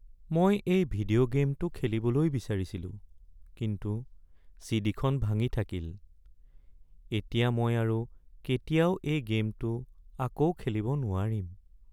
মই এই ভিডিঅ' গে'মটো খেলিবলৈ বিচাৰিছিলোঁ কিন্তু চি.ডি. খন ভাঙি থাকিল। এতিয়া মই আৰু কেতিয়াও এই গে'মটো আকৌ খেলিব নোৱাৰিম।